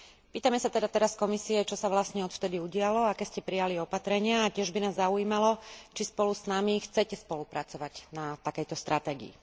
Pýtame sa teda teraz Komisie, čo sa vlastne odvtedy udialo, aké ste prijali opatrenia a tiež by nás zaujímalo, či spolu s nami chcete spolupracovať na takejto stratégii.